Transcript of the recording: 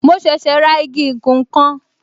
Mo ṣẹ̀ṣẹ̀ ra igi ìkùn nkan